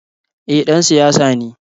Eh ,ɗan siyasa ne.